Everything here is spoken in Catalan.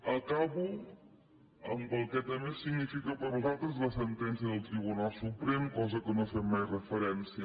acabo amb el que també significa per a nosaltres la sentència del tribunal suprem cosa a la qual no fem mai referència